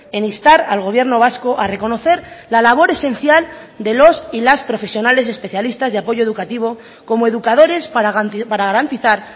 en instar al gobierno vasco a reconocer la labor esencial de los y las profesionales especialistas de apoyo educativo como educadores para garantizar